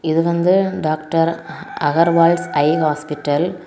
இது வந்து doctor Agarwals eye hospital .